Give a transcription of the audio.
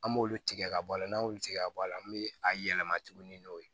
An b'olu tigɛ ka bɔ a la n'an y'olu tigɛ ka bɔ a la an bɛ a yɛlɛma tuguni n'o ye